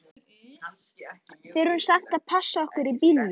Þurftum samt að passa okkur á bílunum.